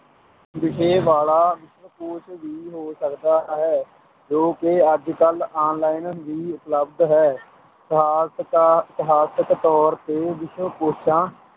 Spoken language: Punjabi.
ਵਿਸ਼ੇ ਵਾਲਾ ਵਿਸ਼ਵਕੋਸ਼ ਵੀ ਹੋ ਸਕਦਾ ਹੈ ਜੋ ਕਿ ਅੱਜ ਕੱਲ੍ਹ online ਵੀ ਉਪਲਬਧ ਹੈ ਇਤਿਹਾਸਕਾ~ ਇਤਿਹਾਸਕ ਤੌਰ ਤੇ ਵਿਸ਼ਵਕੋਸ਼ਾਂ